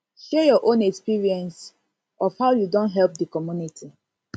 share your own experience own experience of how you don help di community